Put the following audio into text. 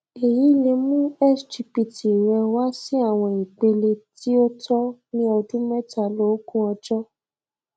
èyí lè mú sgpt rẹ wá sí àwọn ipele tí ó tọ ní ọdún mẹtàláógún ọjọ